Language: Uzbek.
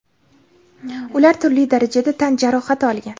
ular turli darajada tan jarohati olgan.